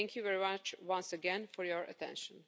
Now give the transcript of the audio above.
Thank you very much once again for your attention.